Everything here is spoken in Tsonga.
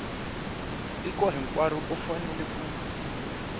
tiko hinkwaro u fanele ku